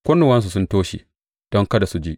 Kunnuwansu sun toshe don kada su ji.